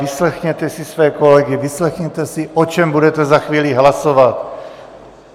Vyslechněte si své kolegy, vyslechněte si, o čem budete za chvíli hlasovat.